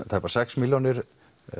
tæpar sex milljónir